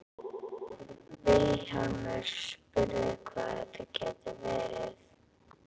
Vilhjálmur spurði hvað þetta gæti verið.